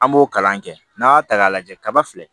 An b'o kalan kɛ n'an y'a ta k'a lajɛ kaba filɛ